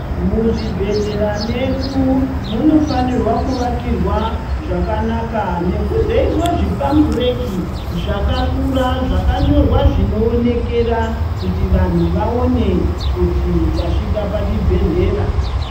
Muzvi bhedhlera medu muno fanirwa ku vakirwa zvakanaka nekuzoiswa zvi pambureki zvaka kura zvakanyorwa zvino onekera kuti antu aone kuti tasvika pachi bhedhlera.